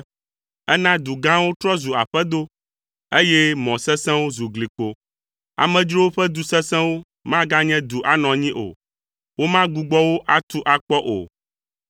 Èna du gãwo trɔ zu aƒedo, eye mɔ sesẽwo zu glikpo. Amedzrowo ƒe du sesẽwo maganye du anɔ anyi o. Womagbugbɔ wo atu akpɔ o,